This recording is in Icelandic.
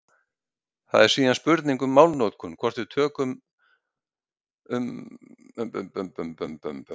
Það er síðan spurning um málnotkun hvort við tölum um undantekningar í slíkum tilvikum.